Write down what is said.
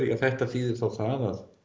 að þetta þýðir að